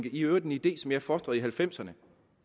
i øvrigt en idé som jeg fostrede i nitten halvfemserne